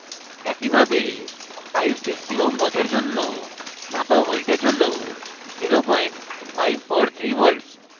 একইভাবে 560 ω ohms রোধের জন্য মাপা voltage হল 0543v